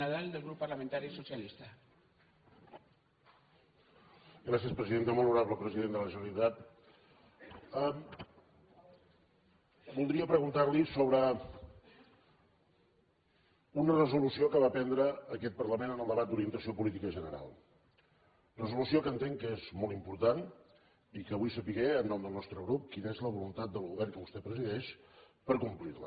molt honorable president de la generalitat voldria preguntar li sobre una resolució que va prendre aquest parlament en el debat d’orientació política general resolució que entenc que és molt important i que vull saber en nom del nostre grup quina és la voluntat del govern que vostè presideix per complir la